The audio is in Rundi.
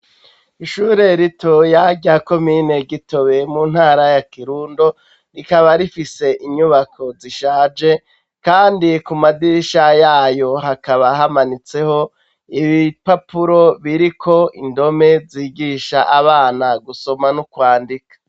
Ishure ritoya rya komine Gitobe mu ntara ya Kirundo rikaba rifise inyubako zishaje kandi kumadirisha yayo hakaba hamanitseho ibipapuro biriko indome zigisha abana gusoma n'ukwandika.